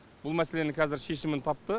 бұл мәселенің қазір шешімін тапты